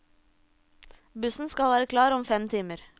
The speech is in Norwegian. Bussen skal være klar om fem timer.